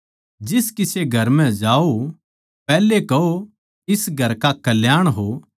जिस किसे घर म्ह जाओ पैहलै कहो इस घर का कल्याण हो